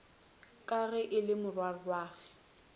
ka ge e le morwarragwe